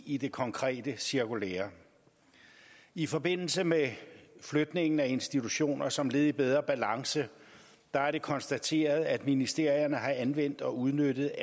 i det konkrete cirkulære i forbindelse med flytningen af institutioner som led i bedre balance er det konstateret at ministerierne har anvendt og udnyttet